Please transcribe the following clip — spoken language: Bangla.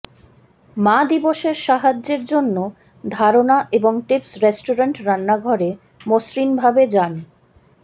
মা দিবসের সাহায্যের জন্য ধারণা এবং টিপস রেষ্টুরেন্ট রান্নাঘরে মসৃণভাবে যান